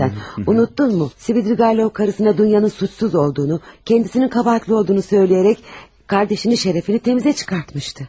Unutdunmu, Svidrigailov arvadına Dunyanın günahsız olduğunu, özünün günahkar olduğunu söyləyərək bacısının şərəfini təmizə çıxartmışdı.